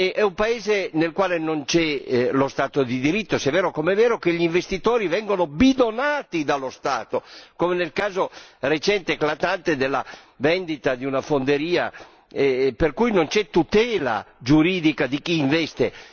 È un paese nel quale non c'è lo Stato di diritto se è vero, come è vero, che gli investitori vengono bidonati dallo Stato, come nel caso recente, eclatante, della vendita di una fonderia, per cui non c'è tutela giuridica di chi investe.